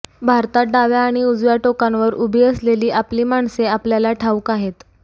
भारतात डाव्या आणि उजव्या टोकांवर उभी असलेली आपली माणसे आपल्याला ठाऊक आहेत